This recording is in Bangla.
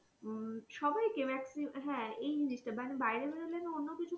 হম সবাই কে maxi হ্যাঁ এই জিনিস টা বাইরে বেরোলে অন্য কিছু,